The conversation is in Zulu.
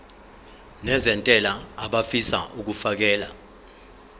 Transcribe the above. nezentela abafisa uukfakela